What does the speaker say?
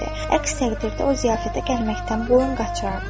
Əks təqdirdə o ziyafətə gəlməkdən boyun qaçırardı.